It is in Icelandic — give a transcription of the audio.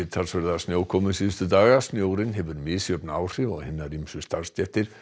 snjókomu síðustu daga snjórinn hefur misjöfn áhrif á hinar ýmsu starfsstéttir